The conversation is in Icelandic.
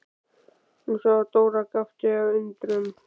Hún sá að Dóra gapti af undrun.